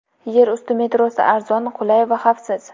Yer usti metrosi arzon, qulay va xavfsiz.